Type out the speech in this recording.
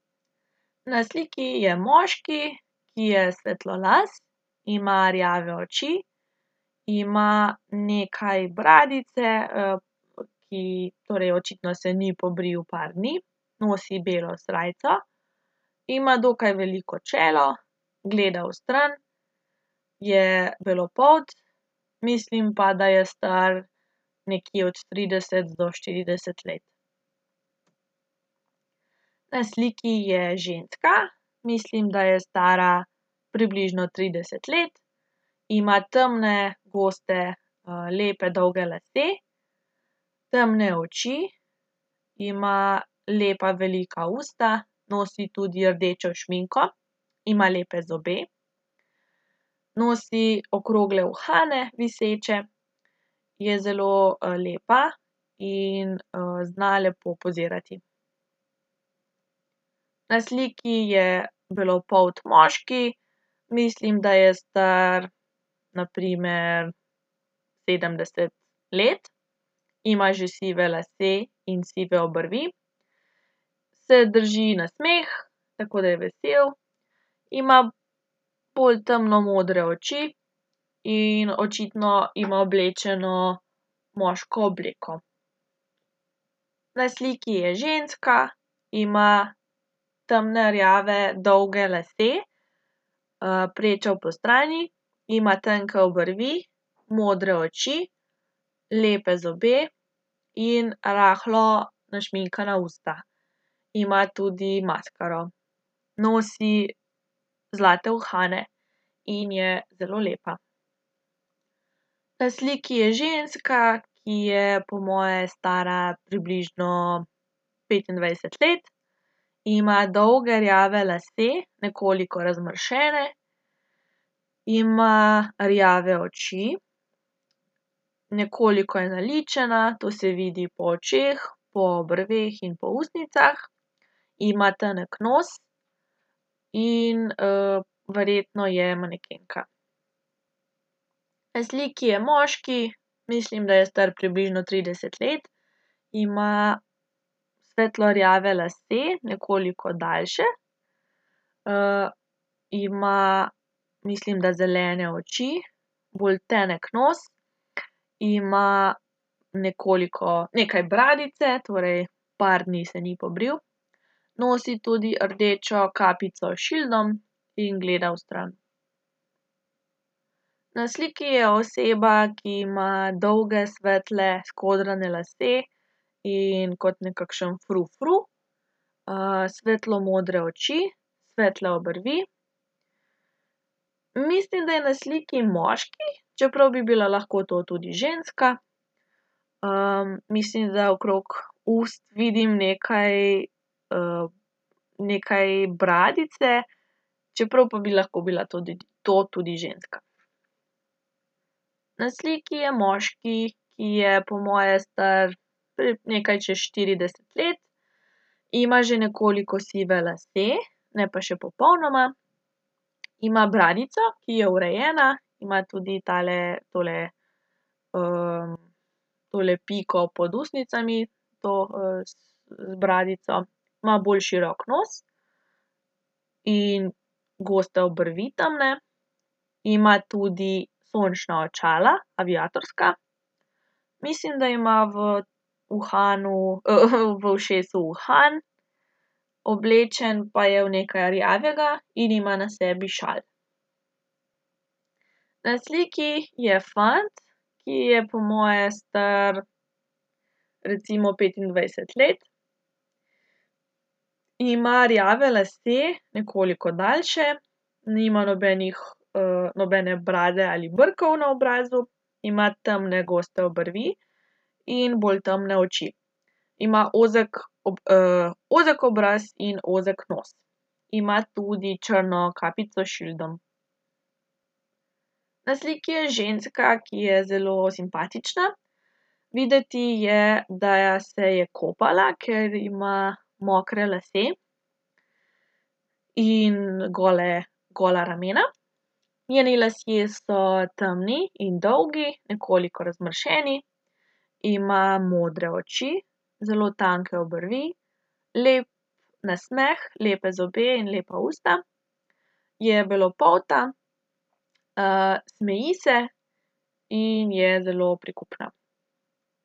Na sliki je moški, ki je svetlolas. Ima rjave oči, ima nekaj bradice, ki torej očitno se ni pobril par dni. Nosi belo srajco ima dokaj veliko čelo, gleda vstran. Je belopolt, mislim pa, da je star nekje od trideset do štirideset let. Na sliki je ženska. Mislim, da je stara približno trideset let. Ima temne, goste, lepe dolge lase. Temne oči, ima lepa velika usta, nosi tudi rdečo šminko. Ima lepe zobe, nosi okrogle uhane, viseče. Je zelo, lepa in, zna lepo pozirati. Na sliki je belopolt moški, mislim, da je star, na primer sedemdeset let. Ima že sive lase in sive obrvi. Se drži nasmeh, tako da je vesel. Ima bolj temno modre oči. In očitno ima oblečeno moško obleko. Na sliki je ženska, ima temne rjave dolge lase. prečo postrani, ima tanke obrvi, modre oči, lepe zobe in rahlo našminkana usta. Ima tudi maskaro. Nosi zlate uhane in je zelo lepa. Na sliki je ženska, ki je po moje stara približno petindvajset let. Ima dolge rjave lase, nekoliko razmršene. Ima rjave oči, nekoliko je naličena, to se vidi po očeh, po obrveh in po ustnicah. Ima tanek nos. In, verjetno je manekenka. Na sliki je moški, mislim, da je star približno trideset let. Ima svetlo rjave lase, nekoliko daljše. ima mislim, da zelene oči. Bolj tenek nos, ima nekoliko, nekaj bradice, torej par dni se ni pobril. Nosi tudi rdečo kapico s šildom. In gleda vstran. Na sliki je oseba, ki ima dolge svetle, skodrane lase. In kot nekakšen frufru. svetlo modre oči, svetle obrvi. Mislim, da je na sliki moški, čeprav bi bila lahko to tudi ženska. mislim, da okrog ust vidim nekaj, nekaj bradice, čeprav pa bi lahko to to tudi ženska. Na sliki je moški, ki je po moje star nekaj čez štirideset let. Ima že nekoliko sive lase, ne pa še popolnoma. Ima bradico, ki je urejena, ima tudi tale, tole, tole piko pod ustnicami to, z bradico, ima bolj širok nos in goste obrvi, temne. Ima tudi sončna očala, aviatorska. Mislim, da ima v uhanu, v ušesu uhan. Oblečen pa je v nekaj rjavega in ima na sebi šal. Na sliki je fant, ki je po moje star recimo petindvajset let. Ima rjave lase, nekoliko daljše. Nima nobenih, nobene brade ali brkov na obrazu. Ima temne goste obrvi in bolj temne oči. Ima ozek ozek obraz in ozek nos. Ima tudi črno kapico s šildom. Na sliki je ženska, ki je zelo simpatična. Videti je, da se je kopala, ker ima mokre lase in gole, gola ramena. Njeni lasje so temni in dolgi, nekoliko razmršeni. Ima modre oči zelo tanke obrvi, lep nasmeh, lepe zobe in lepa usta. Je belopolta, smeji se in je zelo prikupna.